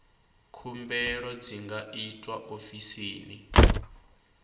khumbelo dzi nga itwa ofisini